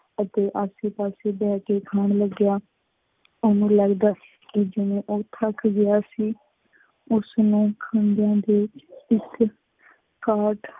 ਅਤੇ ਆਸੇ ਪਾਸੇ ਬਹਿ ਕੇ ਖਾਣ ਲੱਗਿਆ। ਉਹਨੂੰ ਲੱਗਦਾ ਕਿ ਜਿਵੇਂ ਉਹ ਥੱਕ ਗਿਆ ਸੀ। ਉਸ ਨੂੰ ਖੰਘਣ ਦੇ ਇੱਕ